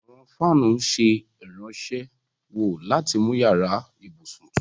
Àwọn fáanù ǹ ṣẹ irànṣéwọ̀ lati mú yara-íbusun tùtù.